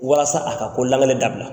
Walasa a ka ko lankale dabila.